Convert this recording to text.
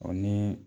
Ɔ ni